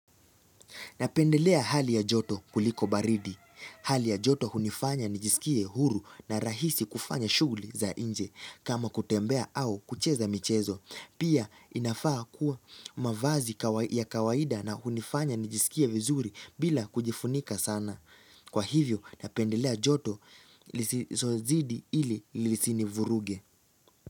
Napendelea hali ya joto kuliko baridi. Hali ya joto hunifanya nijisikie huru na rahisi kufanya shuguli za inje kama kutembea au kucheza michezo. Pia inafaa kuwa mavazi ya kawaida na hunifanya nijisikie vizuri bila kujifunika sana. Kwa hivyo napendelea joto lisilozidi ili lisini vuruge.